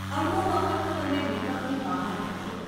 અડધો વખત તો તમે નેટવર્કની બહાર હો છો.